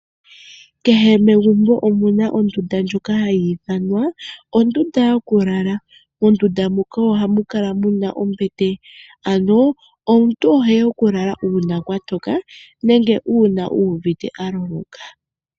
Kehe megumbo omuna ondunda ndjoka hayi ithanwa ondunda yokulala. Mondunda muka ohamu kala muna ombete ano omuntu oheya oku lala uuna kwa toka nenge uuna uvite a loloka.